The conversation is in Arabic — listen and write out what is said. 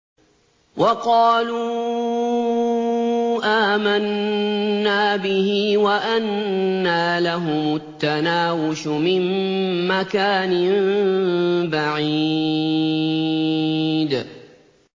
وَقَالُوا آمَنَّا بِهِ وَأَنَّىٰ لَهُمُ التَّنَاوُشُ مِن مَّكَانٍ بَعِيدٍ